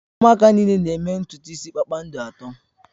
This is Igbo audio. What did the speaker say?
Ụmụaka niile na-eme ntutu isi kpakpando atọ